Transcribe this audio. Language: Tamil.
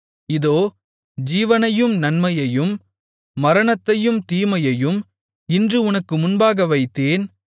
இதோ ஜீவனையும் நன்மையையும் மரணத்தையும் தீமையையும் இன்று உனக்கு முன்பாக வைத்தேன்